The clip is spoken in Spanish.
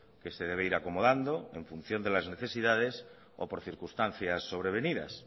que se debe ir acomodando en función de las necesidades o por circunstancias sobrevenidas